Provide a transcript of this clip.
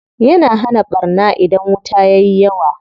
Yana hana ɓarna idan wuta yayi yawa.